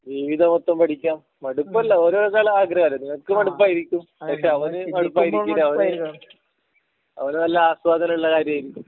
ജീവിതം മൊത്തം പഠിക്കാം മടുപ്പ് അല്ല ഓരോരുത്തരെ ആഗ്രഹം അല്ലെ നിനക്ക് മടുപ്പായിരിക്കും പക്ഷെ അവന് മടുപ്പായിരിക്കില്ല അവന് അവന് നല്ല ആസ്വാദനം ഉള്ള കാര്യം ആയിരിക്കും